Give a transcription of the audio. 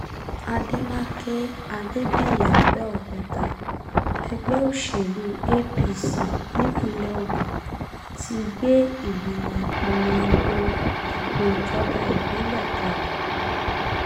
àdèmàkè adébíyí àbẹ̀òkúta ẹgbẹ́ òṣèlú apc nípínlẹ̀ ogun ti gbé ìgbìmọ̀ ìpolongo ìbò ìjọba ìbílẹ̀ kalẹ̀